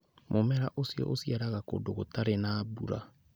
Mũmera ũcio ũciaragĩra kũndũ gũtarĩ na mbura.